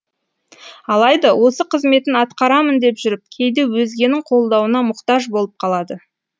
алайда осы қызметін атқарамын деп жүріп кейде өзгенің қолдауына мұқтаж болып қалады